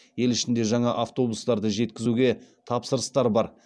ел ішінде жаңа автобустарды жеткізуге тапсырыстар бар